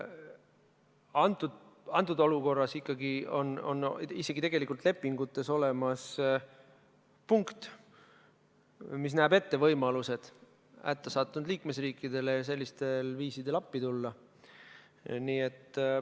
Antud olukorras on ikkagi isegi lepingutes olemas punkt, mis näeb ette võimalused hätta sattunud liikmesriikidele sellistel viisidel appi tulla.